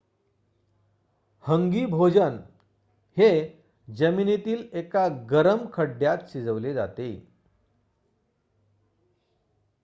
हंगी भोजन हे जमिनीमधील एका गरम खड्ड्यात शिजवले जाते